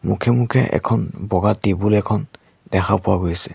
মুখে মুখে এখন বগা টেবুল এখন দেখা পোৱা গৈছে।